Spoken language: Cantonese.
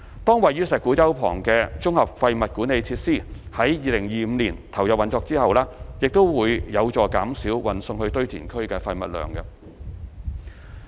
當位於石鼓洲旁的綜合廢物管理設施於2025年投入運作之後，亦將有助減少運送至堆填區的廢物量。